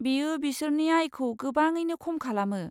बेयो बिसोरनि आयखौ गोबाङैनो खम खालामो।